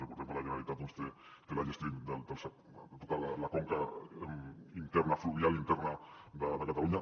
recordem que la generalitat té la gestió de tota la conca fluvial interna de catalunya